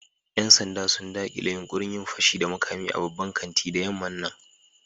Yan sanda sun dakile yunkurin yin fashi da makami a babban kanti da yamman nan.